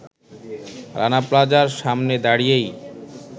রানা প্লাজার সামনে দাড়িয়েই